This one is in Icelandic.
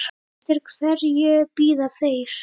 Eftir hverju bíða þeir?